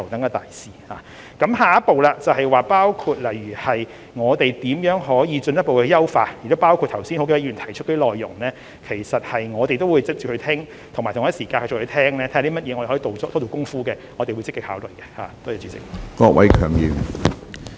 我們的下一步工作是如何可以進一步優化，而剛才多位議員提出的內容，我們也會討論，亦會聆聽有哪些方面可以多做工夫，我們都會積極考慮。